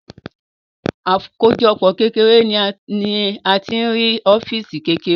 Àkójọpọ̀ kékeré ni a tí ń rí ọ́físì kékeré